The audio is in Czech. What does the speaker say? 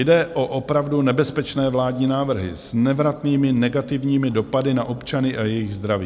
Jde o opravdu nebezpečné vládní návrhy s nevratnými negativními dopady na občany a jejich zdraví.